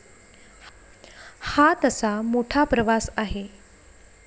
हा तसा मोठा प्रवास आहे.